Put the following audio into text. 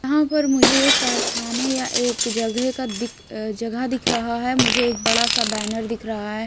यहां पर मुझे एक कारखाने या एक जगह का दिक जगह दिख रहा है मुझे एक बड़ा सा बैनर दिख रहा है।